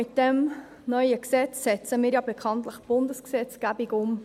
Mit diesem neuen Gesetz setzen wir ja bekanntlich Bundesgesetzgebung um.